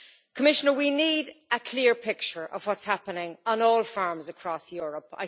Commissioner we need a clear picture of what's happening on all farms across Europe.